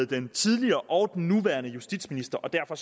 den tidligere og den nuværende justitsminister og derfor